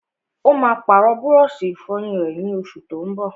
Ó máa pàrọ̀ búrọ́sì-ìfọyín rẹ̀, ní oṣù tó n bọ̀.